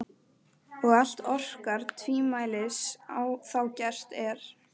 Og allt orkar tvímælis þá gert er.